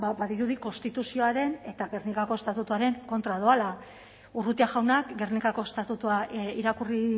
ba badirudi konstituzioaren eta gernikako estatutuaren kontra doala urrutia jaunak gernikako estatutua irakurri